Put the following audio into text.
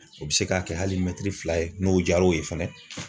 O bɛ se k'a kɛ hali mɛtiri fila ye n'o diyar'o ye fana.